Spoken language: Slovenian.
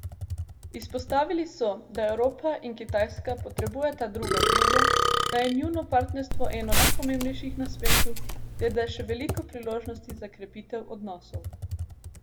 Izpostavili so, da Evropa in Kitajska potrebujeta druga drugo, da je njuno partnerstvo eno najpomembnejših na svetu ter da je še veliko priložnosti za krepitev odnosov.